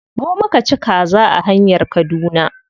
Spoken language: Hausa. Mu muka ci kaza a hanyar kaduna.